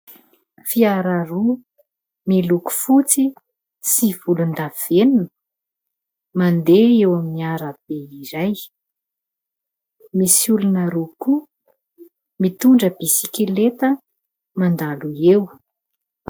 Fiara roa, miloko fotsy sy volondavenona, mandeha eo amin'ny arabe iray. Misy olona roa koa mitondra bisikileta mandalo eo.